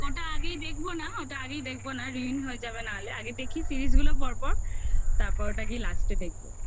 ওটা আগেই দেখবো না ওটা আগেই দেখবো না ঋণ হয়ে যাবে না হলে আগে দেখি series গুলো পর পর তারপর ওটা গিয়ে last -এ দেখবো